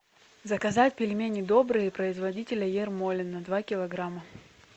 заказать пельмени добрые производителя ермолино два килограмма